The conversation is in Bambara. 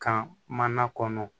Kan mana kɔnɔ